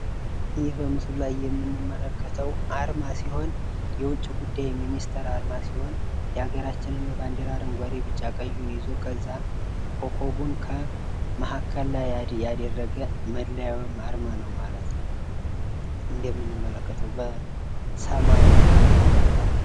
ይህ መምስሉ ላይ የምንመለከተው የውጭ ጉዳይ ሚኒስተር አርማ ነው። የውጭ ጉዳይ ሚኒስተር ለሀገራችን ብዙ ጥቅም ይሰጣል።